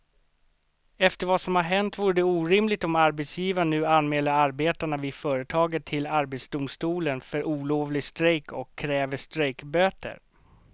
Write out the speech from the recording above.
Efter vad som har hänt vore det orimligt om arbetsgivaren nu anmäler arbetarna vid företaget till arbetsdomstolen för olovlig strejk och kräver strejkböter.